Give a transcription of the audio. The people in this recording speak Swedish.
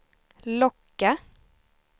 locka